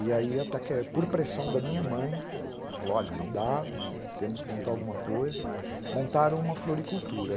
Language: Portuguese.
E aí, por pressão da minha mãe, que falou, olha, não dá, temos que montar alguma coisa, montaram uma floricultura.